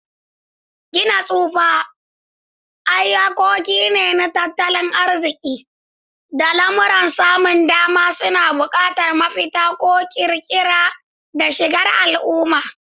Gina tsufa, iyakoki na tattalin arziƙi, da lamuran samun dama suna buƙatar mafita mai ƙirƙira da shigar al'umma.